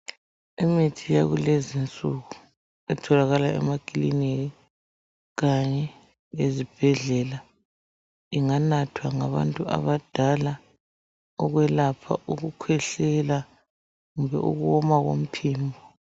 Imithi yakulezi nsuku itholakala emakiliniki kanye lezibhedlela, inganathwa ngabantu abadala ukwelapha ukukhwehlela kumbe ukuwoma komphimbo.